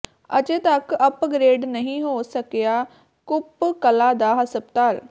ਅਜੇ ਤੱਕ ਅੱਪਗ੍ਰੇਡ ਨਹੀਂ ਹੋ ਸਕਿਆ ਕੁੱਪ ਕਲਾਂ ਦਾ ਹਸਪਤਾਲ